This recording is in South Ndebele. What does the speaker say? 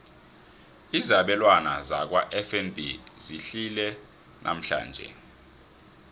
izabelwana zakwafnb zehlile namhlanje